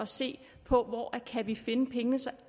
se på hvor vi kan finde pengene så